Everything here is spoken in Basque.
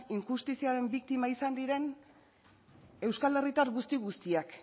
injustiziaren biktima izan diren euskal herritar guzti guztiak